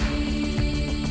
í